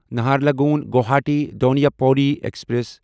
Naharlagun Guwahati Donyi Polo express